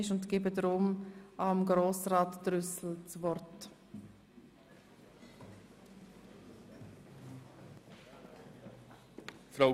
Deshalb erteile ich dem Motionär Grossrat Trüssel das Wort.